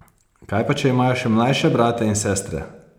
Kaj pa, če imajo še mlajše brate in sestre?